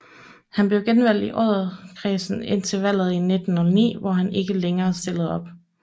Han blev genvalgt i Odderkredsen indtil valget i 1909 hvor han ikke længere stillede op